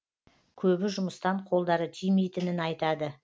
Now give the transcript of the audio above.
көбі жұмыстан қолдары тимейтінін айтады